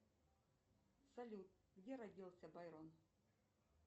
салют где родился байрон